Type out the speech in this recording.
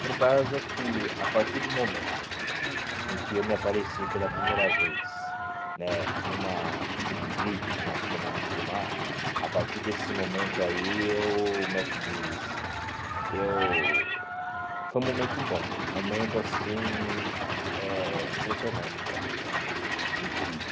Por causa que, a partir do momento em que eu me apareci pela primeira vez né numa fita de vídeo, numa câmera de filmar, a partir desse momento aí, eu o como é que diz, eu foi um momento bom, um momento assim impressionante para mim né, incrível.